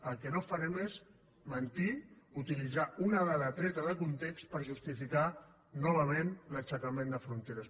el que no fa·rem és mentir utilitzar una dada treta de context per justificar novament l’aixecament de fronteres